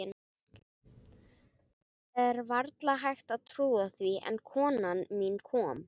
Það er varla hægt að trúa því, en konan mín kom.